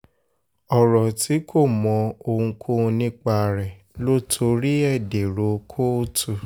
ọ̀rọ̀ tí kò mọ ohunkóhun nípa rẹ̀ ló torí ẹ̀ dèrò kóòtù